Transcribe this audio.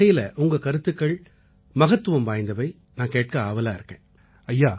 அந்த வகையில உங்க கருத்துக்கள் மகத்துவம் வாய்ந்தவை நான் கேட்க ஆவலா இருக்கேன்